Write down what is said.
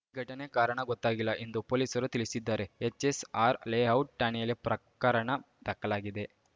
ಘಟನೆ ಕಾರಣ ಗೊತ್ತಾಗಿಲ್ಲ ಎಂದು ಪೊಲೀಸರು ತಿಳಿಸಿದ್ದಾರೆ ಎಚ್‌ಎಸ್‌ಆರ್‌ ಲೇಔಟ್‌ ಠಾಣೆಯಲ್ಲಿ ಪ್ರಕರಣ ದಾಖಲಾಗಿದೆ